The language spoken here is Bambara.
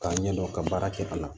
K'a ɲɛdɔn ka baara kɛ a la